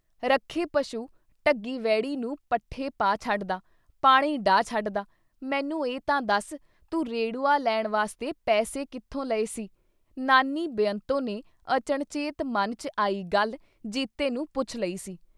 ਰੱਖੇ ਪਸ਼ੂ ਢੱਗੀ ਵਹਿੜੀ ਨੂੰ ਪੱਠੇ ਪਾ ਛੱਡਦਾਂ, ਪਾਣੀ ਡ੍ਹਾਅ ਛੱਡਦਾਂ, ਮੈਨੂੰ ਇਹ ਤਾਂ ਦੱਸ ਤੂੰ ਰੇੜੂਆ ਲੈਣ ਵਾਸਤੇ ਪੈਸੇ ਕਿੱਥੋਂ ਲਏ ਸੀ ?" ਨਾਨੀ ਬੇਅੰਤੋਂ ਨੇ ਅਚਣਚੇਤ ਮਨ ਚ ਆਈ ਗੱਲ ਜੀਤੇ ਨੂੰ ਪੁੱਛ ਲਈ ਸੀ ।